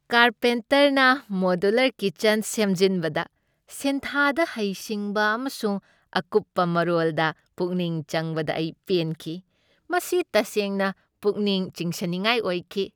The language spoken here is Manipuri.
ꯀꯥꯔꯄꯦꯟꯇꯔꯅ ꯃꯣꯗꯨꯂꯔ ꯀꯤꯆꯟ ꯁꯦꯝꯖꯤꯟꯕꯗ ꯁꯤꯟꯊꯥꯗ ꯍꯩꯁꯤꯡꯕ ꯑꯃꯁꯨꯡ ꯑꯀꯨꯞꯄ ꯃꯔꯣꯜꯗ ꯄꯨꯛꯅꯤꯡ ꯆꯪꯕꯗ ꯑꯩ ꯄꯦꯟꯈꯤ꯫ ꯃꯁꯤ ꯇꯁꯦꯡꯅ ꯄꯨꯛꯅꯤꯡ ꯆꯤꯡꯁꯤꯟꯅꯤꯡꯉꯥꯏ ꯑꯣꯏꯈꯤ ꯫